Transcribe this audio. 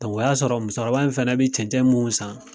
O y'a sɔrɔ musokɔrɔba in fɛnɛ be cɛncɛn mu san